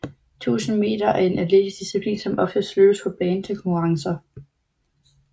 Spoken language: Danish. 1000 meter er en atletisk disciplin som oftest løbes på bane til konkurrencer